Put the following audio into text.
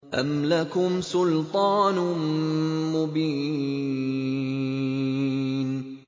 أَمْ لَكُمْ سُلْطَانٌ مُّبِينٌ